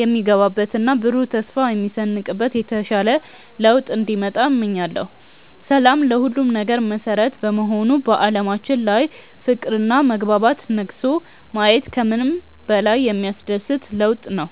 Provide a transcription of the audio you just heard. የሚገባበትና ብሩህ ተስፋ የሚሰንቅበት የተሻለ ለውጥ እንዲመጣ እመኛለሁ። ሰላም ለሁሉም ነገር መሠረት በመሆኑ በዓለማችን ላይ ፍቅርና መግባባት ነግሶ ማየት ከምንም በላይ የሚያስደስት ለውጥ ነው።